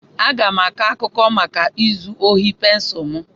Aga m aga-akọ maka izu ohi pensụl m.